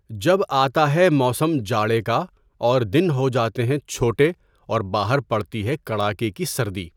جب آتا ہے موسم جاڑے کااور دن ہوجاتے ہیں چھوٹےاور باہر پڑتی ہے کڑاکے کی سردی .